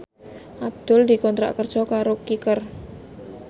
Abdul dikontrak kerja karo Kicker